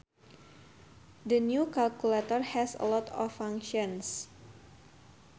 The new calculator has a lot of functions